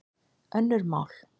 Önnur mál.